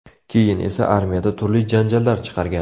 Keyin esa armiyada turli janjallar chiqargan.